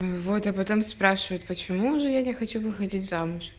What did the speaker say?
вот а потом спрашивать почему же я не хочу выходить замуж